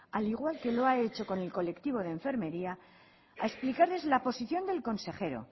al igual que lo ha hecho con el colectivo de enfermería a explicarles la posición del consejero